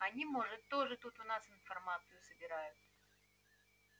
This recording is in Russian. они может тоже тут у нас информацию собирают